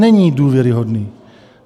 Není důvěryhodný.